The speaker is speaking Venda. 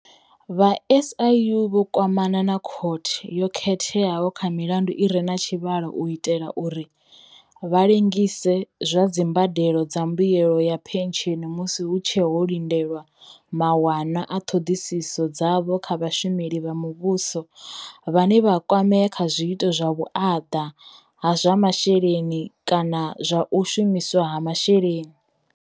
Vha SIU vho kwamana na vha Khothe yo Khetheaho kha milandu i re na tshivhalo u itela uri vha lengise zwa dzimbadelo dza mbuelo ya phentsheni musi hu tshe ho lindelwa mawanwa a ṱhoḓisiso dzavho kha vhashumeli vha muvhuso vhane vha kwamea kha zwiito zwa vhuaḓa ha zwa masheleni kana zwa u shumiswa ha masheleni.